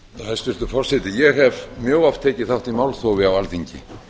hæstvirtur forseti ég hef mjög oft tekið þátt í málþófi á alþingi